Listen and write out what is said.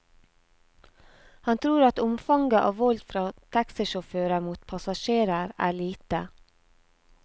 Han tror at omfanget av vold fra taxisjåfører mot passasjerer er lite.